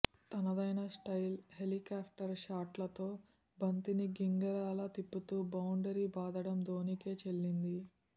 తనదైన style helicopter షాట్లతో బంతిని గింగిరాలు తిప్పుతూ బౌండరీ బాదడం ధోనికే చెల్లింది